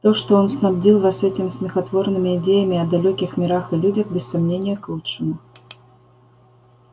то что он снабдил вас этими смехотворными идеями о далёких мирах и людях без сомнения к лучшему